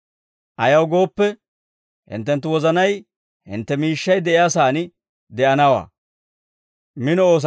Ayaw gooppe, hinttenttu wozanay hintte miishshay de'iyaa saan de'anawaa.